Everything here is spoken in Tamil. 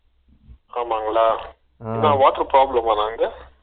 ஆமாங்களா என்ன water problem மண்ணா அங்க